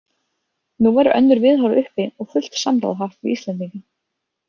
Nú væru önnur viðhorf uppi og fullt samráð haft við Íslendinga.